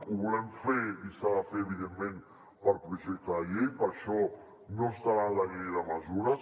ho volem fer i s’ha de fer evidentment per projecte de llei per això no estarà en la llei de mesures